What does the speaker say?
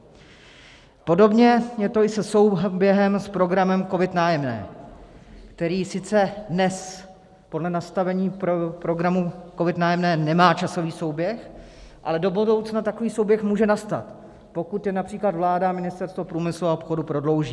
Podobně je to i se souběhem s programem COVID - Nájemné, který sice dnes podle nastavení programu COVID - Nájemné nemá časový souběh, ale do budoucna takový souběh může nastat, pokud je například vláda a Ministerstvo průmyslu a obchodu prodlouží.